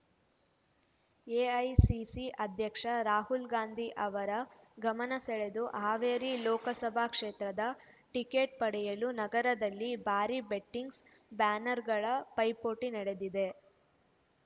AICC ಅಧ್ಯಕ್ಷ ರಾಹುಲ್ ಗಾಂಧಿ ಅವರ ಗಮನ ಸೆಳೆದು ಹಾವೇರಿ ಲೋಕಸಭಾ ಕ್ಷೇತ್ರದ ಟಿಕೆಟ್ ಪಡೆಯಲು ನಗರದಲ್ಲಿ ಭಾರಿ ಬಂಟಿಂಗ್ಸ್ ಬ್ಯಾನರ್ ಗಳ ಪೈಪೋಟಿ ನಡೆದಿದೆ